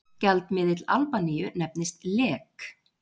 gjaldmiðill albaníu nefnist lek